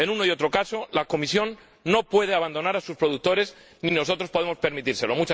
En uno y otro caso, la Comisión no puede abandonar a sus productores ni nosotros podemos permitírselo.